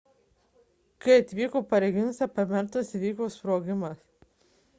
kai atvyko pareigūnas apartamentuose įvyko sprogimas